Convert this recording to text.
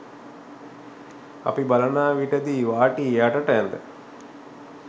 අපි බලනා විට දි වාටිය යටට ඇද